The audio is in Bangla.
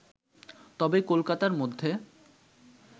তবে কলকাতার মধ্যে